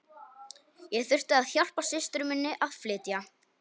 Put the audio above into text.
Ég þurfti að hjálpa systur minni að flytja.